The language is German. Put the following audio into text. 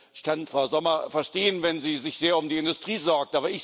Ich kann Frau Sommer verstehen, wenn sie sich sehr um die Industrie sorgt.